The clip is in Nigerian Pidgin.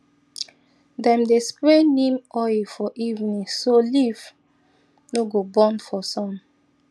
dem dey spray neem oil for evening so leaf no go burn for sun